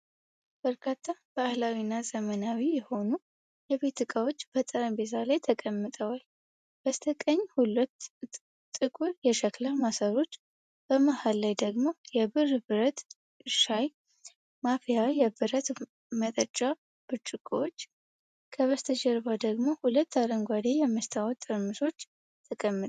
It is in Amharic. በርካታ ባህላዊና ዘመናዊ የሆኑ የቤት ዕቃዎች በጠረጴዛ ላይ ተቀምጠዋል። በስተቀኝ ሁለት ጥቁር የሸክላ ማሰሮዎች፣ በመሃል ላይ ደግሞ የብር ብረት ሻይ ማፍያና የብረት መጠጫ ብርጭቆዎች፣ ከበስተግራ ደግሞ ሁለት አረንጓዴ የመስታወት ጠርሙሶች ተቀምጠዋል።